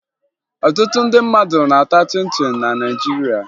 Ọtụtụ ndị mmadụ na-ata chịn chịn na Naịjirịa